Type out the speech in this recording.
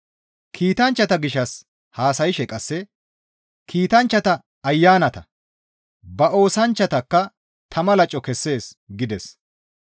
Kiitanchchata gishshas haasayshe qasse, «Kiitanchchata ayanata; ba oosanchchatakka tama laco kessees» gides.